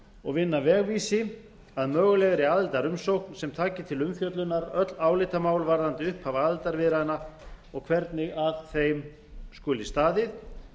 og vinna vegvísi að mögulegri aðildarumsókn sem taki til umfjöllunar öll álitamál varðandi upphaf aðildarviðræðna og hvernig að þeim skuli staðið